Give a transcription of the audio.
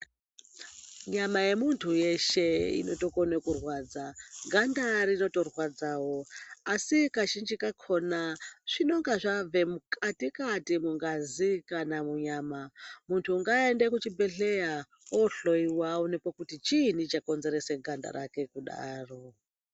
Nyama yemuntu weshe inotokone kurwadza. Ganda rinotorwadzawo asi kazhinji kakhona zvinenge zvabve mukatikati mungazi kana munyama. Muntu ngaende kuchibhehleya ohlowiwa aonekwe kuti chiini chakonzeresa ganda rake kudaro.